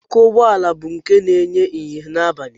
Ọkụ ụgbọala bụ nke na-enye ìhè n'abalị